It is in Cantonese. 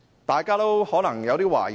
大家可能有點疑惑。